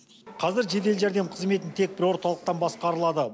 қазір жедел жәрдем қызметі тек бір орталықтан басқарылады